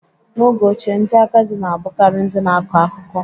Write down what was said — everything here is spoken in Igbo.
N'oge ochie, ndị agadi na-abụkarị ndị na-akọ akụkọ.